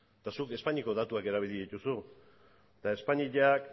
eta zuk espainiako datuak erabili dituzu eta espainiak